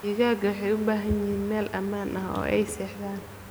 Digaagga waxay u baahan yihiin meel ammaan ah oo ay seexdaan.